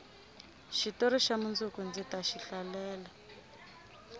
xitori xa mundzuku ndzi taxi hlalela